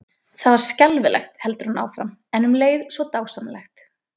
Það var skelfilegt, heldur hún áfram, en um leið svo dásamlegt.